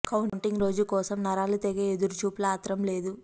counting రోజు కోసం నరాల తెగే ఎదురు చూపుల ఆత్రం లేదు